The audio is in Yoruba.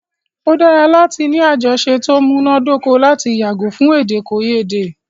O dára láti ní àjọsọ ti o múná dóko lati yàgò fún èdèkòyédè.